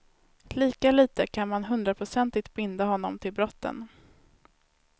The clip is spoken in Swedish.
Lika litet kan man hundraprocentigt binda honom till brotten.